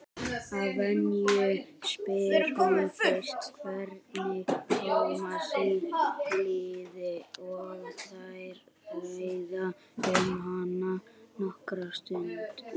Að venju spyr hún fyrst hvernig Tómasi líði og þær ræða um hann nokkra stund.